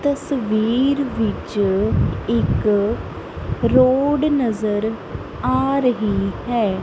ਤਸਵੀਰ ਵਿੱਚ ਇੱਕ ਰੋਡ ਨਜ਼ਰ ਆ ਰਹੀ ਹੈ।